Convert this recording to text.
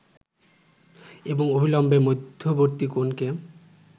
এবং অভিলম্বের মধ্যবর্তী কোণকে